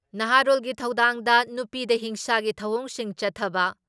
ꯅꯍꯥꯔꯣꯜꯒꯤ ꯊꯧꯗꯥꯡꯗ ꯅꯨꯄꯤꯗ ꯍꯤꯡꯁꯥꯒꯤ ꯊꯧꯑꯣꯡꯁꯤꯡ ꯆꯠꯊꯕ